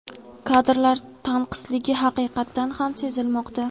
kadrlar tanqisligi haqiqatan ham sezilmoqda.